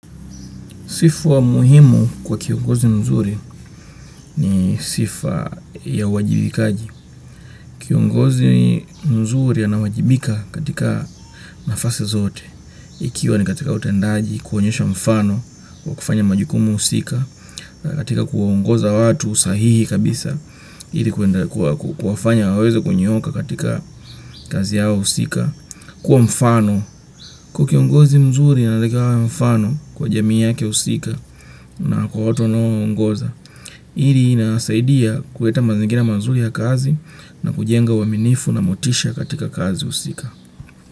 Sifu wa muhimu kwa kiongozi mzuri ni sifa ya wajibikaji. Kiongozi mzuri anawajibika katika nafasi zote. Ikiwa ni katika utendaji, kuonyesha mfano, kwa kufanya majukumu husika, katika kuongoza watu sahihi kabisa, ili kuwafanya wawezo kunyooka katika kazi yao husika, kuwa mfano. Kukiongozi mzuri anatakikana mfano kwa jamii yake husika na kwa watu anao uongoza. Iri linasaidia kuleta mazingina mazuri ya kazi na kujenga uaminifu na motisha katika kazi husika.